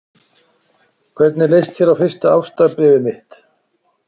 Hvernig leist þér á fyrsta ástarbréfið mitt?